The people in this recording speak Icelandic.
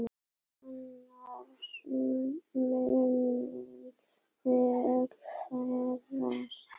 Annars munum við öll farast!